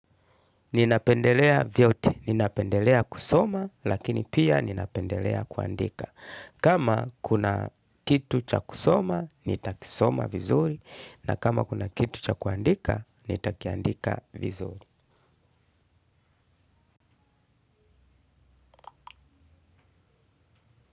Ninapendelea vyote, ninapendelea kusoma lakini pia ninapendelea kuandika. Kama kuna kitu cha kusoma, nitakisoma vizuri na kama kuna kitu cha kuandika, nitakiandika vizuri.